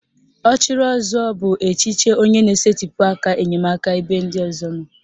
Ọchịrịọzụọ bụ echiche onye na-esetịpụ aka enyemaka ebe ndị ọzọ nọ